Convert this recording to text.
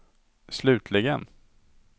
slutligen